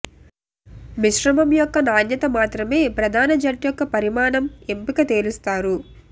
మిశ్రమం యొక్క నాణ్యత మాత్రమే ప్రధాన జెట్ యొక్క పరిమాణం ఎంపిక తేలుస్తారు